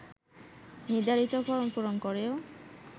নির্ধারিত ফরম পূরণ করেও